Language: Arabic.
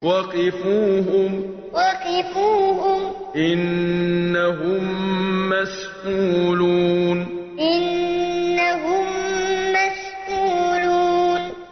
وَقِفُوهُمْ ۖ إِنَّهُم مَّسْئُولُونَ وَقِفُوهُمْ ۖ إِنَّهُم مَّسْئُولُونَ